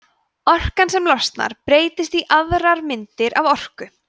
orkan sem losnar breytist í aðrar myndir af orku